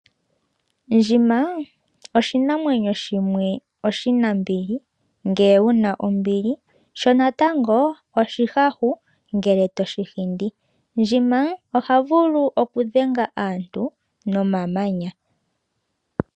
Ndjima oshinamwenyo shimwe oshinambili ngele wuna ombili shonatango, oshihahu ngele toshihindi. Ndjima ohavulu okudhenga aantu nomamanya.